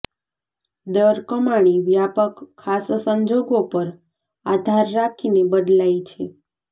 દર કમાણી વ્યાપક ખાસ સંજોગો પર આધાર રાખીને બદલાય છે